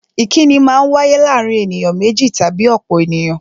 Ìkínni Maa ń wáyé láàárín ènìyàn méjì tàbí ọ̀pọ̀ ènìyàn